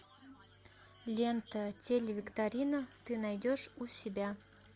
лента телевикторина ты найдешь у себя